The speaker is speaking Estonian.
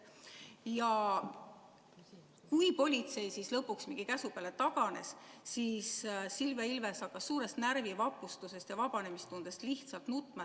Ja kui politsei lõpuks mingi käsu peale taganes, siis Silvia Ilves hakkas suurest närvivapustusest ja vabanemistundest lihtsalt nutma.